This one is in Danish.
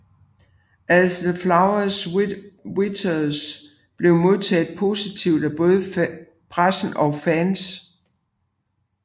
As the Flower Withers blev modtaget positivt af både pressen og fans